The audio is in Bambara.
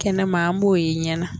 Kɛnɛman a b'o ye ɲɛ na.